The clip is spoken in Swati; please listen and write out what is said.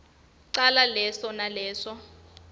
cala leso naleso